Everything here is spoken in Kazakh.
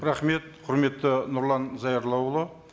рахмет құрметті нұрлан зайроллаұлы